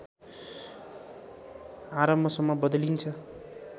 आरम्भसम्म बदलिन्छ